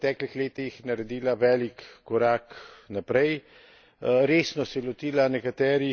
Moram reči, da je Srbija v preteklih letih naredila velik korak naprej.